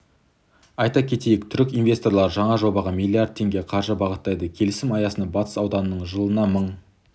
айта кетейік түрік инвесторлары жаңа жобаға миллиард теңге қаржы бағыттайды келісім аясында батыс ауданынан жылына мың